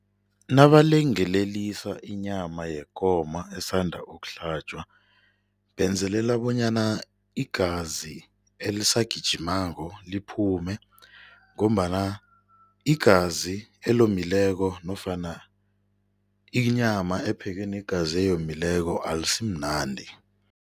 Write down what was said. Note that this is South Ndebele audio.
Nabalengelelisa inyama yekomo esanda ukuhlatjwa, benzelela bonyana igazi elisagijimako liphume ngombana igazi elomileko nofana inyama ephekwe negazi eyomileko ayisimnandi.